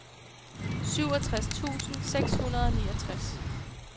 syvogtres tusind seks hundrede og niogtres